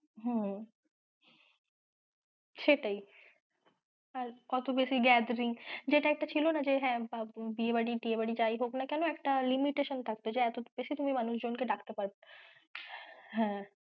হুম। সেটাই আর অতো বেশি gathering যেটা একটা ছিল না যে হ্যাঁ বাবু বিয়ে বাড়ি টিয়ে বাড়ি যাই হোক না কেন একটা limitation থাকতো যে এতো বেশি মানুষ জন কে তুমি ডাকতে পারবে, হ্যাঁ।